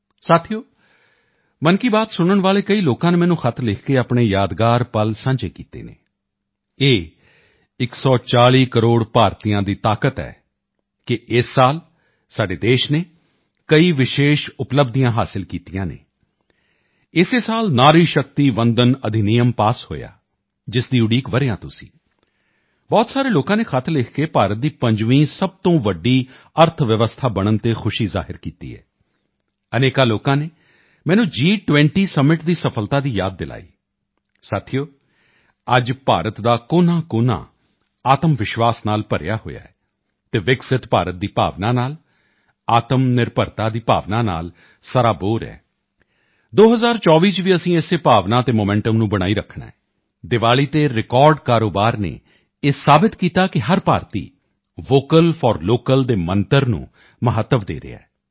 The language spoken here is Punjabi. ਸਾਥੀਓ ਮਨ ਕੀ ਬਾਤ ਸੁਣਨ ਵਾਲੇ ਕਈ ਲੋਕਾਂ ਨੇ ਮੈਨੂੰ ਖ਼ਤ ਲਿਖ ਕੇ ਆਪਣੇ ਯਾਦਗਾਰ ਪਲ ਸਾਂਝੇ ਕੀਤੇ ਹਨ ਇਹ 140 ਕਰੋੜ ਭਾਰਤੀਆਂ ਦੀ ਤਾਕਤ ਹੈ ਕਿ ਇਸ ਸਾਲ ਸਾਡੇ ਦੇਸ਼ ਨੇ ਕਈ ਵਿਸ਼ੇਸ਼ ਉਪਲਬਧੀਆਂ ਹਾਸਲ ਕੀਤੀਆਂ ਹਨ ਇਸੇ ਸਾਲ ਨਾਰੀ ਸ਼ਕਤੀ ਵੰਦਨ ਅਧੀਨਿਯਮ ਪਾਸ ਹੋਇਆ ਜਿਸ ਦੀ ਉਡੀਕ ਵਰ੍ਹਿਆਂ ਤੋਂ ਸੀ ਬਹੁਤ ਸਾਰੇ ਲੋਕਾਂ ਨੇ ਖ਼ਤ ਲਿਖ ਕੇ ਭਾਰਤ ਦੀ 5ਵੀਂ ਸਭ ਤੋਂ ਵੱਡੀ ਅਰਥਵਿਵਸਥਾ ਬਣਨ ਤੇ ਖੁਸ਼ੀ ਜ਼ਾਹਿਰ ਕੀਤੀ ਹੈ ਅਨੇਕਾਂ ਲੋਕਾਂ ਨੇ ਮੈਨੂੰ ਜੀ20 ਸਮਿਟ ਦੀ ਸਫਲਤਾ ਯਾਦ ਦਿਵਾਈ ਸਾਥੀਓ ਅੱਜ ਭਾਰਤ ਦਾ ਕੋਨਾਕੋਨਾ ਆਤਮਵਿਸ਼ਵਾਸ ਨਾਲ ਭਰਿਆ ਹੋਇਆ ਹੈ ਵਿਕਸਿਤ ਭਾਰਤ ਦੀ ਭਾਵਨਾ ਨਾਲ ਆਤਮਨਿਰਭਰਤਾ ਦੀ ਭਾਵਨਾ ਨਾਲ ਸਰਾਬੋਰ ਹੈ 2024 ਵਿੱਚ ਵੀ ਅਸੀਂ ਇਸੇ ਭਾਵਨਾ ਅਤੇ ਮੋਮੈਂਟਮ ਨੂੰ ਬਣਾਈ ਰੱਖਣਾ ਹੈ ਦੀਵਾਲੀ ਤੇ ਰਿਕਾਰਡ ਕਾਰੋਬਾਰ ਨੇ ਇਹ ਸਾਬਤ ਕੀਤਾ ਕਿ ਹਰ ਭਾਰਤੀ ਵੋਕਲ ਫਾਰ ਲੋਕਲ ਦੇ ਮੰਤਰ ਨੂੰ ਮਹੱਤਵ ਦੇ ਰਿਹਾ ਹੈ